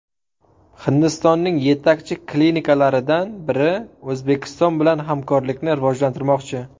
Hindistonning yetakchi klinikalaridan biri O‘zbekiston bilan hamkorlikni rivojlantirmoqchi.